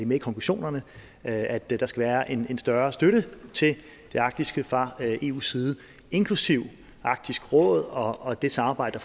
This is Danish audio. med i konklusionerne at at der skal være en større støtte til det arktiske fra eus side inklusive arktisk råd og og det samarbejde